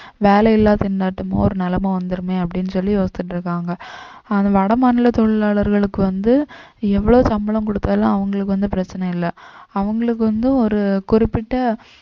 வேலையில்லா திண்டாட்டமோ ஒரு நிலைமை வந்திடுமே அப்படின்னு சொல்லி யோசிச்சிட்டு இருக்காங்க ஆனா வடமாநில தொழிலாளர்களுக்கு வந்து எவ்வளவு சம்பளம் கொடுத்தாலும் அவங்களுக்கு வந்து பிரச்சனை இல்லை அவங்களுக்கு வந்து ஒரு குறிப்பிட்ட